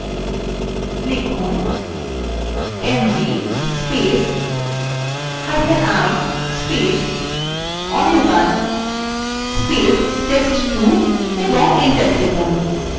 লিখুন mvi anirban test2 এবং enter টিপুন